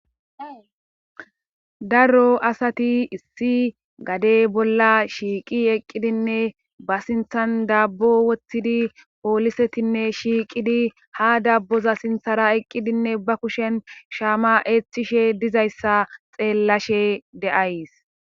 Daro asati issi gadey bolla shiiqi eqqidinne ba sinthan dabbo wothtidi poolisetinne shiiqidi ha dabboza sinthara eqqidinne ba kushen shaama eeththishe dizayssa xeellashe de7ays.